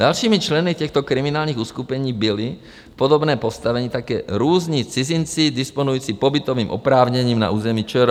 Dalšími členy těchto kriminálních uskupení byli v podobném postavení také různí cizinci disponující pobytovým oprávněním na území ČR.